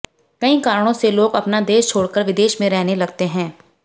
कई कारणों से लोग अपना देश छोड़कर विदेश में रहने लगते हैं